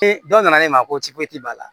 dɔ nana e ma ko b'a la